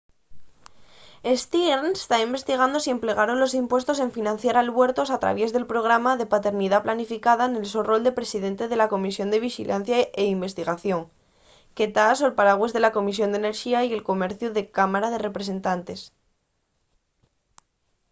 stearns ta investigando si s’emplegaron los impuestos en financiar albuertos al traviés del programa de paternidá planificada nel so rol de presidente de la comisión de vixilancia y investigación que ta sol paragües de la comisión d’enerxía y comerciu de la cámara de representantes